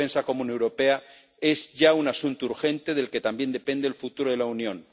La defensa común europea es ya un asunto urgente del que también depende el futuro de la Unión.